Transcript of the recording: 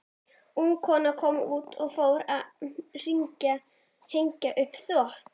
Ung kona kom út og fór að hengja upp þvott.